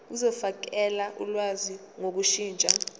zokufakela ulwazi ngokushintsha